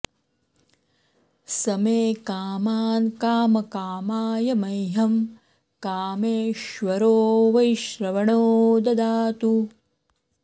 स मे कामान् कामकामाय मह्यं कामेश्वरो वैश्रवणो ददातु